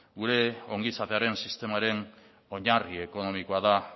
gure ongizatearen sistemaren oinarri ekonomikoa da